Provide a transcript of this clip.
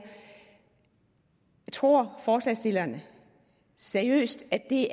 tror forslagsstillerne seriøst at det